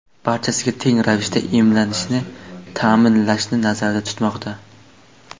barcha teng ravishda emlanishini ta’minlashni nazarda tutmoqda.